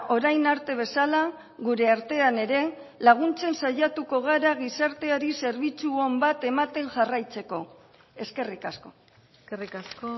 orain arte bezala gure artean ere laguntzen saiatuko gara gizarteari zerbitzu on bat ematen jarraitzeko eskerrik asko eskerrik asko